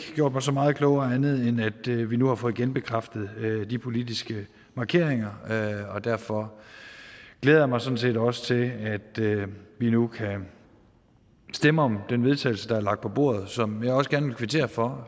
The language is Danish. gjort mig så meget klogere andet end at vi vi nu har fået genbekræftet de politiske markeringer og derfor glæder jeg mig sådan set også til at vi nu kan stemme om den vedtagelse der er lagt på bordet og som jeg også gerne vil kvittere for